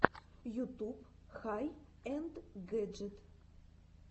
ютуб хай энд гэджит